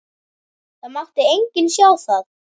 Það mátti enginn sjá það.